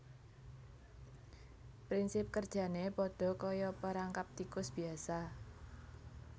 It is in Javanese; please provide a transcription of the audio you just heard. Prinsip kerjané padha kaya perangkap tikus biyasa